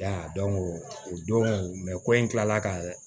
Ya o don ko in kilala ka